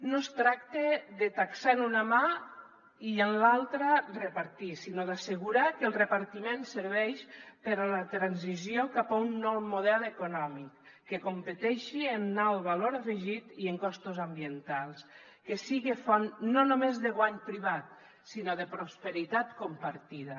no es tracta de taxar amb una mà i amb l’altra repartir sinó d’assegurar que el repartiment serveix per a la transició cap a un nou model econòmic que competeixi en alt valor afegit i en costos ambientals que siga font no només de guany privat sinó de prosperitat compartida